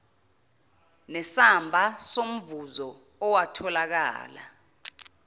nesamba somvuzo owatholakala